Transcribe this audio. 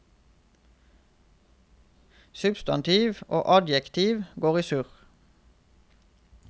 Substantiv og adjektiv går i surr.